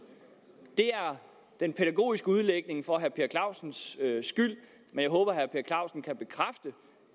det er den pædagogiske udlægning for herre per clausens skyld men jeg håber